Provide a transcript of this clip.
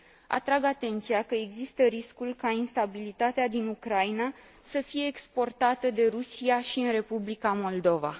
Atrag atenția că există riscul ca instabilitatea din Ucraina să fie exportată de Rusia și în Republica Moldova.